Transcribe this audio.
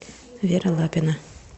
вера лапина